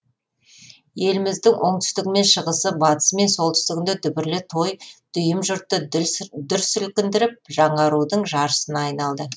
еліміздің оңтүстігі мен шығысы батысы мен солтүстігінде дүбірлі той дүйім жұртты дүр сілкіндіріп жаңарудың жаршысына айналды